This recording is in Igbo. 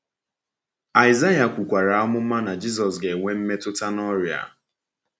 Aịsaịa kwukwara amụma na Jisọs ga-enwe “mmetụta na ọrịa.”